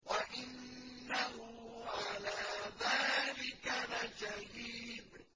وَإِنَّهُ عَلَىٰ ذَٰلِكَ لَشَهِيدٌ